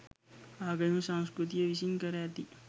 ආගමික සංස්කෘතිය විසින් කර ඇති